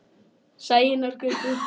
Sæunnargötu